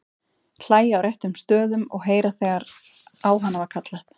Hlæja á réttum stöðum og heyra þegar á hana var kallað.